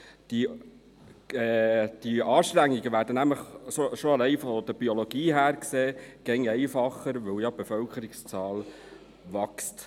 Diese Anstrengungen werden allein von der Biologie her stets einfacher, weil die Bevölkerungszahl wächst.